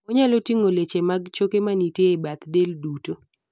onyalo ting'o leche mag choke manitie e bath del duto